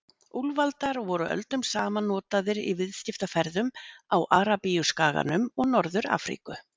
Úlfaldar voru öldum saman notaðir í viðskiptaferðum á Arabíuskaganum og Norður-Afríku.